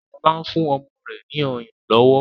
Shola ń fún ọmọ rẹ ní ọyàn lówó.